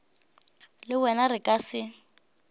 le wena re ka se